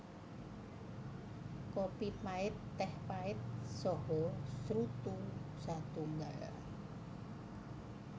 Kopi pait téh pait saha srutu satunggal